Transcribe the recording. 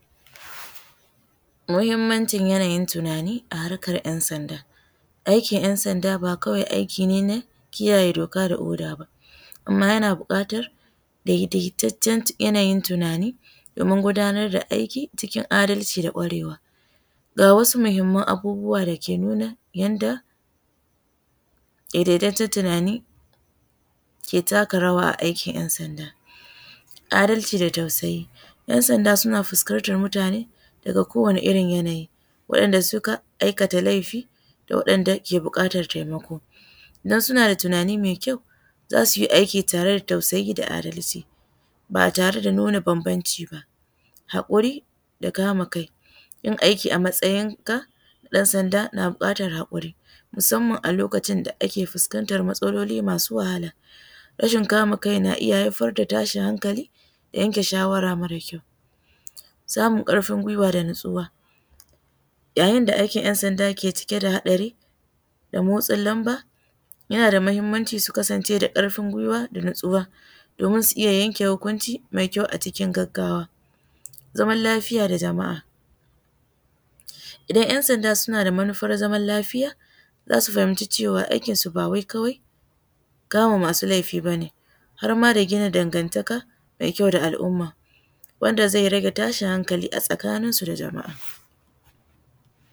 Muhimmancin yanayin tunanin a harkar 'yan sanda. Aikin ‘yan sanda ba kawai kare doka da oda ba, amma yana buƙatar daidaitaccen yanayin tunanin domin gudanar da aiki cikin adalci da ƙwarewa. Ga wasu muhimman abubuwa da suke yadda daidaitaccen tunanin ke taka rawa a aikin 'yan sanda. Adalci da tausayi, 'yan sanda suna fuskantar mutane daga kowane irin yanayi da wanɗanda suka aikata laifi da waɗanda ke bukatar taimako. Don suna da tunani mai ƙyau za su yi aiki tare da tausayi da adarci ba tare da bambanci ba. Haƙuri fa kama kai, ɗan sanda na buƙatar hakuri musamman a lokacin da ake fuskantar matsaloli masu wahala, rashin kamun kai na iya haifar da tashin hankali da yanke shawara mara ƙyau. Samun ƙarfin guiwa da natsuwa, yayin da aikin 'yan sanda ke cike da hadari da matsin lamba ya a da muhimmanci su kasance da karfin guiwa da natsuwa domin su yanke hukunci mara ƙyau a cikin gaggawa. Zaman Lafiya da jama'a, idsn yan sanda suna da zaman lafiya za su fahimci aikinsu ba wai kawai kama masu laifi ba har ma da gina dangantaka da al'umma wanda zai rage tashin hankalinsu da jama'a.